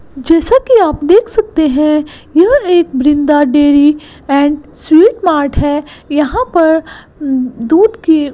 जैसा कि आप देख सकते हैं यह एक Vrinda dairy and sweet mart है यहां पर दूध की--